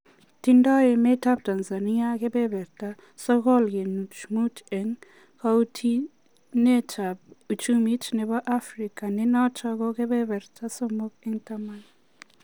Tindoi emet ab Tanzania kebeerta 6.5 en kautinet ab uchumi nebo africa nenoton ko keberta somok en taman